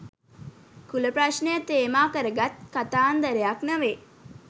කුල ප්‍රශ්නය තේමා කරගත් කතාන්දරයක් නොවේ.